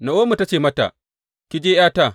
Na’omi ta ce mata, Ki je, ’yata.